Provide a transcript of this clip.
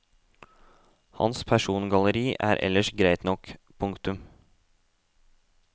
Hans persongalleri er ellers greit nok. punktum